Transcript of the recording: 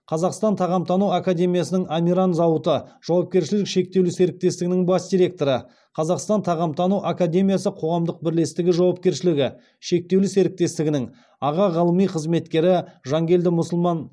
қазақстан тағамтану академиясының амиран зауыты жауапкершілігі шектеулі серіктестігінің бас директоры қазақстан тағамтану академиясы қоғамдық бірлестігі жауапкершілігі шектеулі серіктестігінің аға ғылыми қызметкері жанкелді мұсылман